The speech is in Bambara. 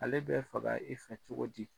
Ale bɛ faga e fɛ cogo ji